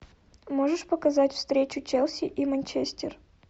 можешь показать встречу челси и манчестер